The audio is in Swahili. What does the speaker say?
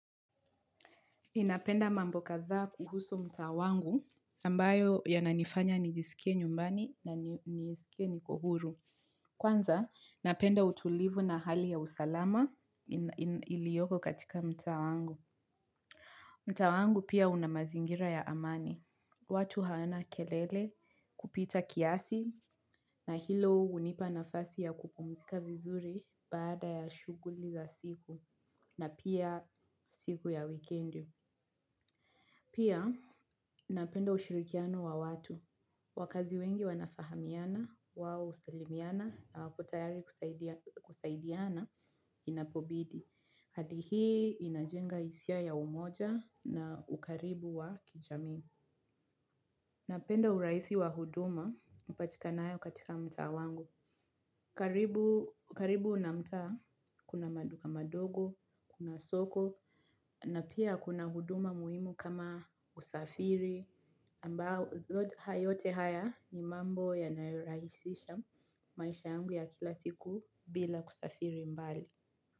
Ninapenda mambo kadhaa kuhusu mtaa wangu ambayo yananifanya nijisikie nyumbani na nijisikie niko huru. Kwanza, napenda utulivu na hali ya usalama iliyoko katika mtaa wangu. Mtaa wangu pia una mazingira ya amani. Watu hawana kelele kupita kiasi na hilo hunipa nafasi ya kupumzika vizuri baada ya shughuli za siku na pia siku ya wikendi. Pia, napenda ushirikiano wa watu. Wakazi wengi wanafahamiana, wao husalimiana, na wapo tayari kusaidiana inapobidi. Hali hii inajenga hisia ya umoja na ukaribu wa kijamii. Napenda urahisi wa huduma upatikanao katika mtaa wangu. Karibu na mtaa, kuna maduka madogo, kuna soko, na pia kuna huduma muhimu kama usafiri, ambao yote haya ni mambo yanayorahisisha maisha yangu ya kila siku bila kusafiri mbali.